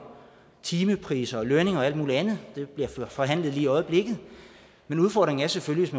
timepriser og lønninger og alt muligt andet det bliver forhandlet lige i øjeblikket men udfordringen er selvfølgelig